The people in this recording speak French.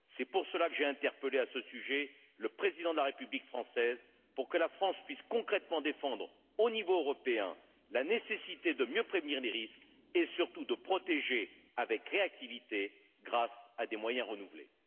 C'est pour cela que j'ai interpellé, à ce sujet, le président de la République française, pour que la France puisse concrètement défendre, au niveau européen, la nécessité de mieux prévenir les risques et, surtout, de protéger avec réactivité grâce à des moyens renouvelés.